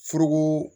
Foroko